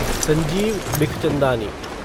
Sanjeev Bikhchandani